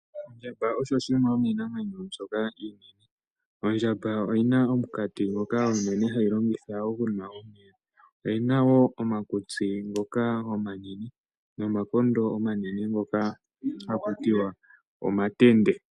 Ondjamba oyo yimwe yomiinamwenyo mbyoka iinene . Ondjamba oyi na omukati ngoka ha yi longitha oku nwa omeya. Ondjamba oyi na wo omakutsi omanene nomakondo omanene ngoka ha ku tiwa omatende.